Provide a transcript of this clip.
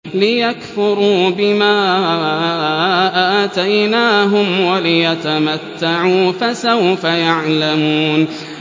لِيَكْفُرُوا بِمَا آتَيْنَاهُمْ وَلِيَتَمَتَّعُوا ۖ فَسَوْفَ يَعْلَمُونَ